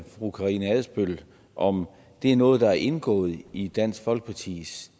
fru karina adsbøl om det er noget der er indgået i dansk folkepartis